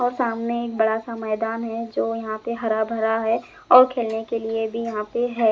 और सामने एक बड़ा सा मैदान है जो यहाँ पे हरा भरा है और खेलने के लिए भी यहाँ पे है।